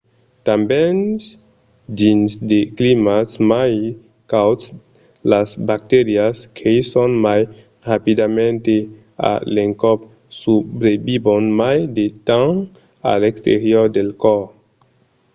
tanben dins de climats mai cauds las bacterias creisson mai rapidament e a l'encòp subrevivon mai de temps a l’exterior del còrs